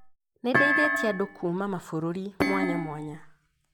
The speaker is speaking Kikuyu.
Nĩ ndeithĩtie andũ kuma mabũrũri mwanya mwanya